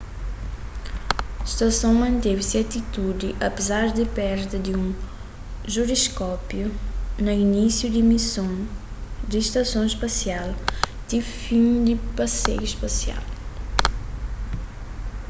stason manteve se atitudi apézar di perda di un jiroskópiu na inisiu di mison di stason spasial ti fin di paseiu spasial